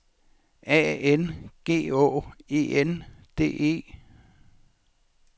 A N G Å E N D E